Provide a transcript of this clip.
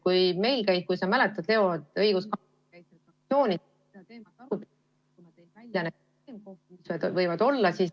Kui sa mäletad, Leo, õiguskantsler käis meil fraktsioonis seda teemat arutamas ja tõi välja need probleemkohad, mis võivad tekkida.